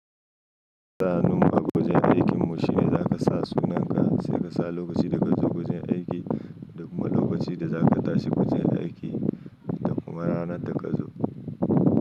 Tsarinnuma a gurin aikin mu shine za ka sa sunanka sai ka sa lokacin da ka zo gurin aiki da kuma lokacin da za ka tashi gujin aiki da kuma ranar da ka zo.